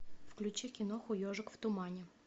включи киноху ежик в тумане